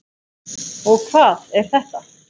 og Hvað er þetta?